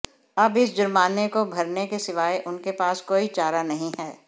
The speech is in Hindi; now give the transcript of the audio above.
अब इस जुर्माने को भरने के सिवाय उनके पास कोई चारा नहीं है